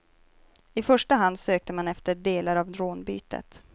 I första hand sökte man efter delar av rånbytet.